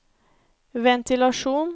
ventilasjon